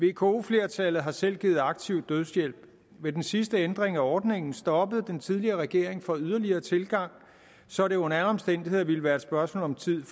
vko flertallet har selv givet aktiv dødshjælp ved den sidste ændring af ordningen stoppede den tidligere regering for yderligere tilgang så det under alle omstændigheder ville være et spørgsmål om tid